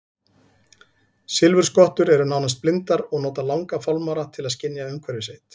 Silfurskottur eru nánast blindar og nota langa fálmara til að skynja umhverfi sitt.